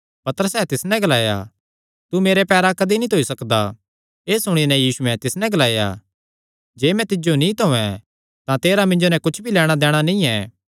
पतरसैं तिस नैं ग्लाया तू मेरे पैरां कदी नीं धोई सकदा एह़ सुणी नैं यीशुयैं तिस नैं ग्लाया जे मैं तिज्जो नीं धोयें तां तेरा मिन्जो नैं कुच्छ भी लैणां दैणा नीं ऐ